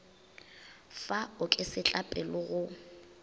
fa o ke setlapele go